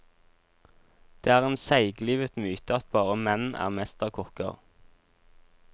Der er en seiglivet myte at bare menn er mesterkokker.